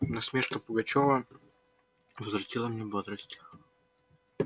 насмешка пугачёва возвратила мне бодрость